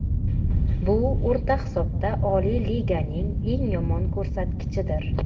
Bu o‘rta hisobda Oliy Liganing eng yomon ko‘rsatkichidir.